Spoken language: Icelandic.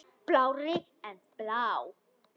Blárri en blá.